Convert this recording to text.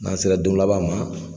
N'an sera don laban ma